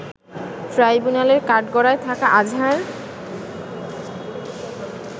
ট্রাইব্যুনালের কাঠগড়ায় থাকা আজহার